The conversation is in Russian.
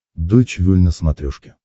дойч вель на смотрешке